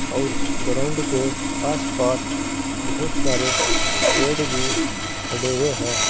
और ग्राउंड के आसपास बहोत सारे पेड़ भी खड़े हुए हैं।